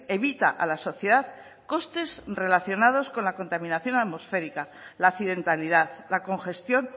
evita a la sociedad costes relacionados con la contaminación atmosférica la accidentalidad la congestión